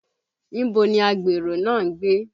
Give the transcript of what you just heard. Ibo ni Agbèrò náà ń gbé?